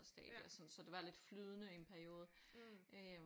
Stadig og sådan så det var lidt flydende i en periode øh